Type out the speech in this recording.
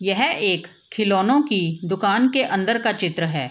यह एक खिलौनों की दुकान के अंदर का चित्र है।